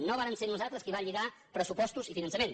no vàrem ser nosaltres qui va lligar pressupostos i finançament